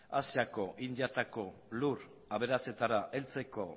asiako indiatako lur aberatsetara heltzeko